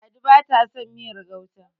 ladi ba ta son miyar gauta